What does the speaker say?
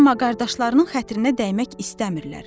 Amma qardaşlarının xətrinə dəymək istəmirlər.